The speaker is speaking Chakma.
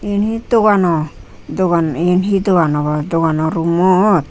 eyen he dogano dogan eyen he dogan obo dogano room mot.